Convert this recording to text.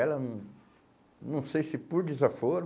Ela hum, não sei se por desaforo,